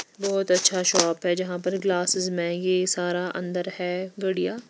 बहोत अच्छा शॉप है जहां पर ग्लासेस मैगी सारा अंदर है घड़ियां--